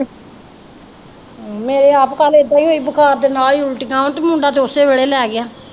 ਮੇਰੇ ਆਪ ਕੱਲ੍ਹ ਏਦਾਂ ਹੀ ਹੋਈ ਬੁਖ਼ਾਰ ਦੇ ਨਾਲ ਹੀ ਉੱਲਟੀਆਂ ਤੇ ਮੁੰਡਾ ਤੇ ਉਸੇ ਵੇਲੇ ਲੈ ਗਿਆ।